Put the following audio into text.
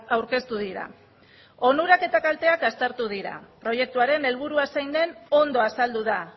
aurkeztu dira onurak eta kalteak aztertu dira proiektuaren helburua zein den ondo azaldu da